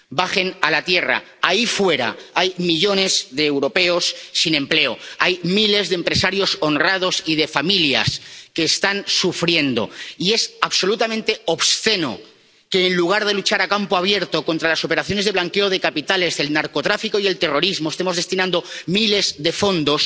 Bajen a la tierra ahí fuera, hay millones de europeos sin empleo, hay miles de empresarios honrados y de familias que están sufriendo, y es absolutamente obsceno que, en lugar de luchar a campo abierto contra las operaciones de blanqueo de capitales, el narcotráfico y el terrorismo, estemos destinando miles de fondos